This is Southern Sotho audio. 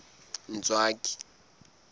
ntswaki